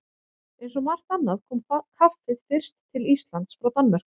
Eins og margt annað kom kaffið fyrst til Íslands frá Danmörku.